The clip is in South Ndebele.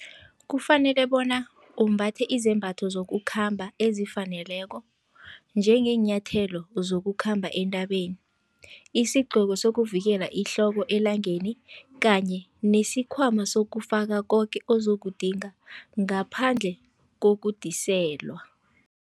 Kufanele bona umbathe izembatho zokukhamba ezifaneleko, njengeenyathelo zokukhamba entabeni, isigcoko sokuvikela ihloko elangeni kanye nesikhwama sokufaka koke ozokudinga, ngaphandle kokudiselwa.